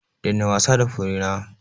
Daina wasa da furena!